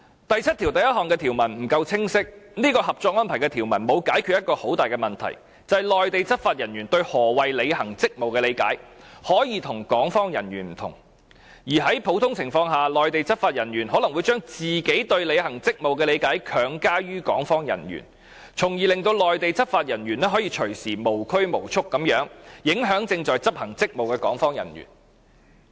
第七1條的條文不夠清晰，因為這項《合作安排》的條文沒有解決一個很大的問題，就是內地執法人員對何謂履行職務的理解，可以和港方人員不同，而在普通情況下，內地執法人員可能會將自己對履行職務的理解強加於港方人員，從而令內地執法人員可隨時無拘無束地影響正在執行職務的港方人員。